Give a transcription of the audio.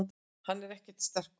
Hann er ekkert sterkur.